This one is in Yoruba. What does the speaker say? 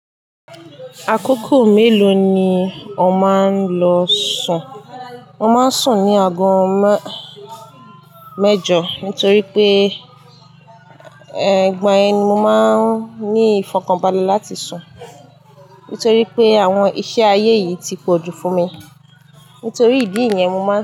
Àkókò mélòó ni ò máa ń lọ sùn? Mo máa ń sùn ní ago má- mẹ́jọ, nítorí pé, e, ìgbà yẹn ni mo máa ń ní ìfọ̀kànbalẹ̀ láti sùn. Nítorí pé àwọn iṣẹ́ ayé yìí ti pọ̀jù fún mi. Nítorí ìdí yẹn, mo má ń sùn.